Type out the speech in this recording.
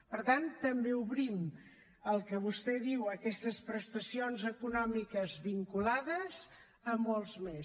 per tant també obrim el que vostè diu aquestes prestacions econòmiques vinculades a molts més